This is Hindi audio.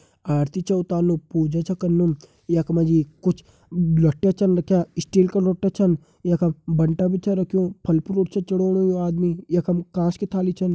आरती छ उतानु पूजा छ कनु यख मा जी कुछ लोठ्या छन रख्यां स्टील का लोठ्या छन यखम बंठा भी छ रख्युं फल फ्रूट च चड़ाणु यु आदमी यखम कांस की थाली छन।